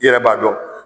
I yɛrɛ b'a dɔn